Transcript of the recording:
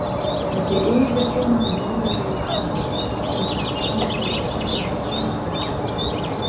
Þessi yfirþyrmandi móðurlegi barmur sýndist fremur til þess fallinn að gefa en þiggja.